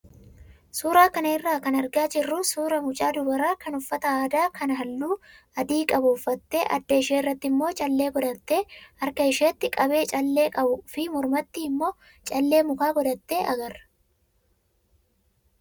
Suuraa kana irraa kan argaa jirru suuraa mucaa dubaraa kan uffata aadaa kan halluu adii qabu uffattee adda ishee irratti immoo callee godhattee harka isheetti qabee callee qabuu fi mormatti immoo callee mukaa godhatte agarra.